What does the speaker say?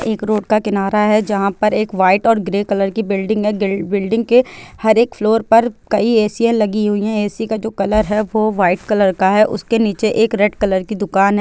एक रोड का किनारा है जहाँ पर एक वाइट और ग्रे कलर की बिल्डिंग है बी बिल्डिंग के हर एक फ्लोर पर कई ए_ सी या लगी हुई है ए_ सी का जो कलर है वो वाइट कलर का है उसके नीचे एक रेड कलर की दुकान है।